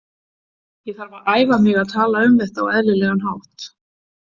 Ég þarf að æfa mig að tala um þetta á eðlilegan hátt.